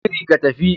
Yi shiri, tafi